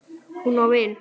Hún á vin.